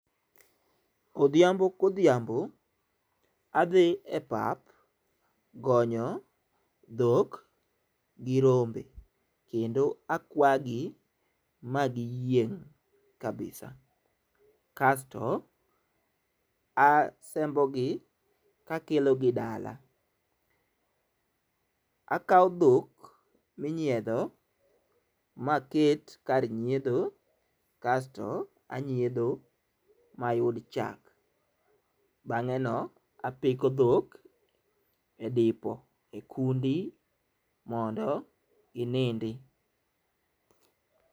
Odhiambo kodhiambo adhi e pap gonyo dhok gi rombe kendo akwagi magiyieng' kabisa kasto asembo gi ka akelogi dala. Akawo dhok minyiedho maket kar nyidho kasto anyiedho mayud chak bang'e no apiko dhok e dipo e kundi mondo ginindi.